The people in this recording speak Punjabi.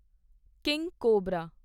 king cobra